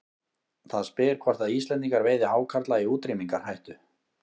Það spyr hvort að Íslendingar veiði hákarla í útrýmingarhættu.